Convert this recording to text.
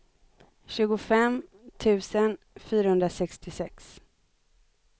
tjugofem tusen fyrahundrasextiosex